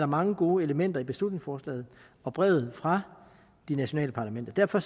mange gode elementer i beslutningsforslaget og brevet fra de nationale parlamenter derfor